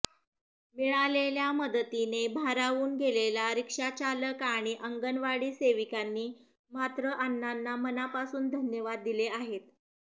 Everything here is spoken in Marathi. मिळालेल्या मदतीने भारावून गेलेला रिक्षाचालक आणि अंगणवाडी सेविकांनी मात्र अण्णांना मनापासून धन्यवाद दिले आहेत